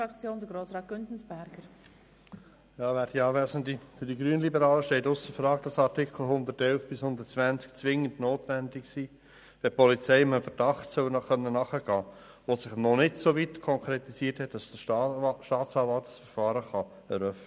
Für die Grünliberalen steht ausser Frage, dass die Artikel 111 bis 120 zwingend notwendig sind, wenn die Polizei einem Verdacht nachgehen können soll, der sich noch nicht so weit konkretisiert hat, dass der Staatsanwalt ein Verfahren eröffnen kann.